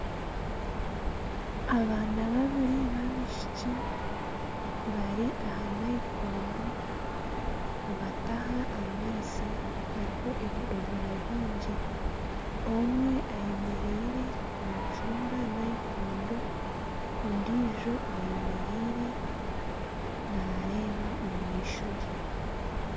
Abaana babiri babaishiki bari aha nayikondo nibataha amaizi hariho ebidoomora bingi omwe ayemereire naacunda nayikondo ondiijo ayemereire naareeba omu maisho ge.